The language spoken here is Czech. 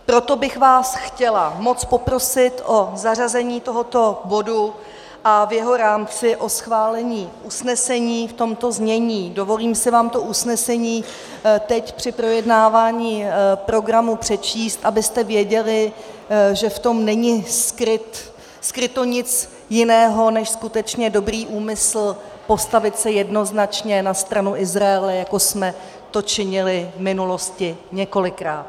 Proto bych vás chtěla moc poprosit o zařazení tohoto bodu a v jeho rámci o schválení usnesení v tomto znění - dovolím si vám to usnesení teď při projednávání programu přečíst, abyste věděli, že v tom není skryto nic jiného než skutečně dobrý úmysl postavit se jednoznačně na stranu Izraele, jako jsme to činili v minulosti několikrát.